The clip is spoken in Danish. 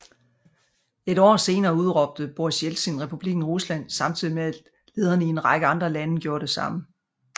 Et år senere udråbte Boris Jeltsin Republikken Rusland samtidig med at lederne i en række andre lande gjorde det samme